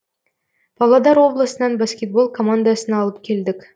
павлодар облысынан баскетбол командасын алып келдік